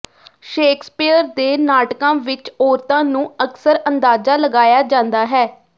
Shakespeare ਦੇ ਨਾਟਕਾਂ ਵਿਚ ਔਰਤਾਂ ਨੂੰ ਅਕਸਰ ਅੰਦਾਜ਼ਾ ਲਗਾਇਆ ਜਾਂਦਾ ਹੈ